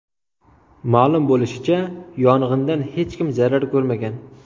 Ma’lum bo‘lishicha, yong‘indan hech kim zarar ko‘rmagan.